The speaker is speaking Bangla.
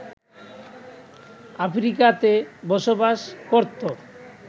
আফ্রিকাতে বসবাস করতো